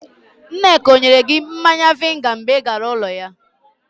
Nneka ọ nyere gị mmanya vainga mgbe ị gara ụlọ ya?